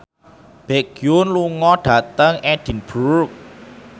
Baekhyun lunga dhateng Edinburgh